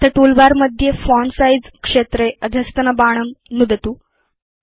अथ टूलबार मध्ये font size क्षेत्रे अधस्तनबाणं नुदतु